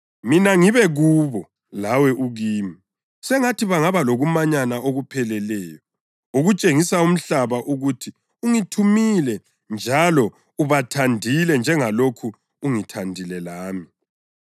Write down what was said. mina ngibe kubo lawe ukimi. Sengathi bangaba lokumanyana okupheleleyo ukutshengisa umhlaba ukuthi ungithumile njalo ubathandile njengalokhu ungithandile lami.